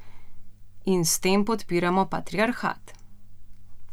In s tem podpiramo patriarhat.